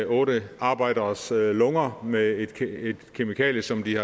otte arbejderes lunger med et kemikalie som de